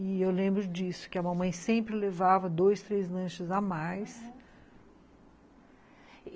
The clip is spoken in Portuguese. E eu lembro disso, que a mamãe sempre levava dois, três lanches a mais, aham.